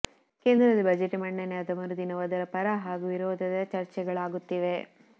ಕೇಂದ್ರದಲ್ಲಿ ಬಜೆಟ್ ಮಂಡನೆಯಾದ ಮರುದಿನವೂ ಅದರ ಪರ ಹಾಗೂ ವಿರೋಧದ ಚರ್ಚೆಗಳಾಗುತ್ತಿವೆ